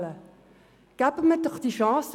Geben wir ihnen doch eine Chance!